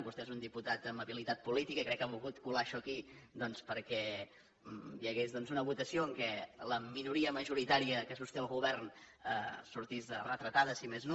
vostè és un diputat amb habilitat política i crec que ha volgut colar això aquí perquè hi hagués una votació en què la minoria majoritària que sosté el govern sortís retratada si més no